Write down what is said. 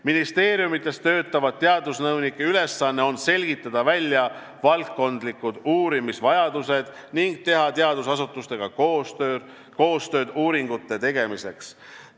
Ministeeriumides töötavate teadusnõunike ülesanne on selgitada välja valdkondlikud uurimisvajadused ning teha teadusasutustega koostööd uuringute tegemiseks.